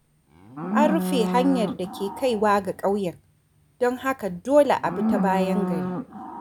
An rufe hanyar da ke kaiwa ga kauyen, don haka dole a bi ta bayan gari.